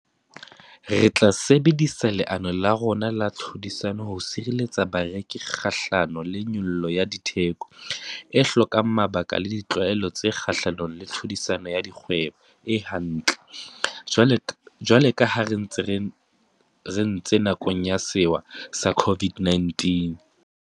Re tla sebedisa leano la rona la tlhodisano ho sireletsa bareki kgahlano le nyollo ya ditheko e hlokang mabaka le ditlwaelo tse kgahlanong le tlhodisano ya dikgwebo e hantle, jwalo ka ha re entse nakong ya sewa sa COVID-19.